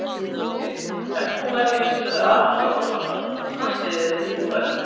Þar spyrjum við: Ef þú værir í stöðu Arons Jóhannssonar, hvort landsliðið myndir þú velja?